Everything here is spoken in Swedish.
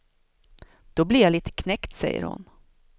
Då blir jag lite knäckt, säger hon.